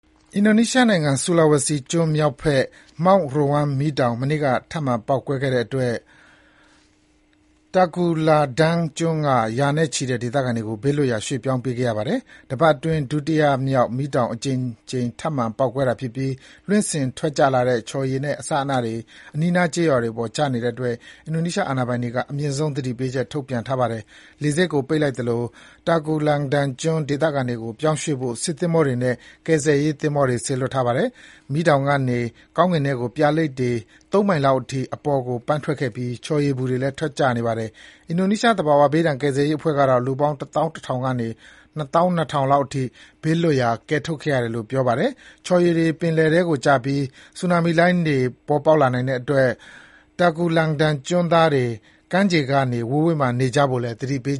အင်ဒိုနီးရှားနိုင်ငံ Sulawesi ကျွန်းမြောက်ဘက် Mount Ruang မီးတောင် မနေ့က ထပ်မံ ပေါက်ကွဲခဲ့တဲ့အတွက် Tagulandang ကျွန်းက ရာနဲ့ချီတဲ့ ဒေသခံတွေကို ဘေးလွတ်ရာ ရွေ့ပြောင်းပေးခဲ့ရပါတယ်။ တပတ်အတွင်း ဒုတိယမြောက် မီးတောင် အကြိမ်ကြိမ် ထပ်မံ ပေါက်ကွဲတာဖြစ်ပြီး လွှင့်စင် ထွက်ကျလာတဲ့ ချော်ရည်နဲ့ အစအနတွေ အနီးနား ကျေးရွာတွေပေါ် ကျနေတဲ့အတွက် အင်ဒိုနီးရှား အာဏာပိုင်တွေက အမြင့်သုံး သတိပေးချက် ထုတ်ပြန်ထားပါတယ်။ လေဆိပ်ကို ပိတ်လိုက်သလို Tagulandang ကျွန်း ဒေသခံတွေကို ပြောင်းရွေ့ဖို့ စစ်သင်္ဘောတွေနဲ့ ကယ်ဆယ်ရေး သင်္ဘောတွေ စေလွှတ်ထားပါတယ်။ မီးတောင်ကနေ ကောင်းကင်ထဲကို ပြာလိပ်တွေ သုံးမိုင်လောက်အထိ အပေါ်ကိုပန်းထွက်ခဲ့ပြီး ချော်ရည်ပူတွေလည်း ထွက်ကျနေပါတယ်။ အင်ဒိုနီးရှား သဘာဝဘေးဒဏ်ကယ်ဆယ်ရေးအဖွဲ့ကတော့ လူပေါင်း တသောင်း တထောင်ကနေ တသောင်း နှစ်ထောင် လောက်အထိ ဘေးလွတ်ရာ ကယ်ထုတ်ခဲ့ရတယ်လို့ ပြောပါတယ်။ ချော်ရည်တွေ ပင်လယ်ထဲကို ကျပြီး ဆူနာမီလှုင်းတွေ ပေါက်လာနိုင်တဲ့အတွက် Tagulandang ကျွန်းသားတွေ ကမ်းခြေတွေကနေ ဝေးဝေးမှာ နေကြဖို့ သတိပေး